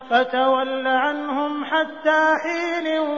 فَتَوَلَّ عَنْهُمْ حَتَّىٰ حِينٍ